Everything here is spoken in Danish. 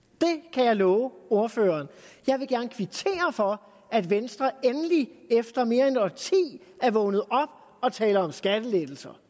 kan jeg love ordføreren jeg vil gerne kvittere for at venstre endelig efter mere end et årti er vågnet op og taler om skattelettelser